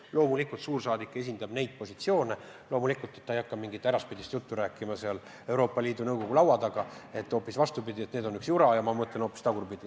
Loomulikult suursaadik esindab neid positsioone, loomulikult ta ei hakka mingit äraspidist juttu rääkima Euroopa Liidu Nõukogu laua taga, et on hoopis vastupidi, et see on üks jura ja ma mõtlen hoopis teisiti.